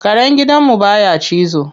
Karen gidan mu baya cizo.